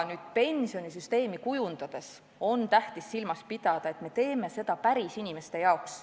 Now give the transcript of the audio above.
Nüüd pensionisüsteemi kujundades on tähtis silmas pidada, et me teeme seda pärisinimeste jaoks.